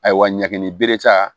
Ayiwa ɲagami bere ta